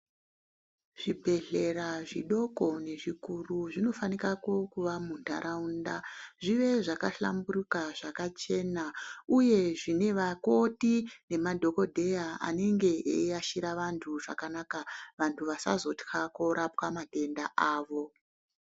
Zvibhedhlera zvidoko nezvikuru zvinofanika kuva muntaraunda zvive zvakahlamburuka zvakachena uye zvine vakoti nemadhokodheya anenge eiashira vantu zvakanaka vantu vasazotya kurapwa madenda avo.